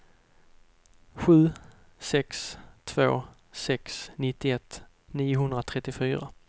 sju sex två sex nittioett niohundratrettiofyra